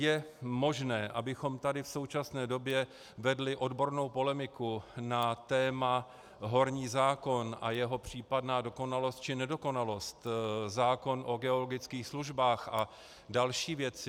Je možné, abychom tady v současné době vedli odbornou polemiku na téma horní zákon a jeho případná dokonalost či nedokonalost, zákon o geologických službách a další věci.